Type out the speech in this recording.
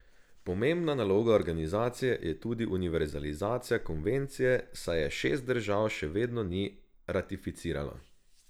Pomembna naloga organizacije je tudi univerzalizacija konvencije, saj je šest držav še vedno ni ratificiralo.